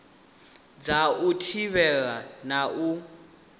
dza u thivhela na u